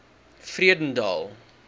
vredendal